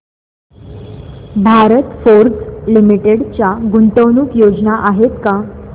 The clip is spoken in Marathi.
भारत फोर्ज लिमिटेड च्या गुंतवणूक योजना आहेत का